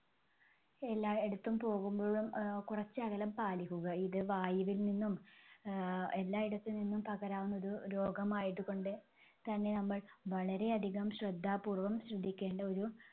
എല്ലാ എടത്തും പോകുമ്പോഴും ആഹ് കുറച്ച് അകലം പാലിക്കുക ഇത് വായിൽനിന്നും ആഹ് എല്ലാ എടത്തുനിന്നും പകരാവുന്ന ഒരു രോഗമായതുകൊണ്ട് തന്നെ നമ്മൾ വളരെ അധികം ശ്രദ്ധാപൂർവം ശ്രദ്ധിക്കേണ്ട ഒരു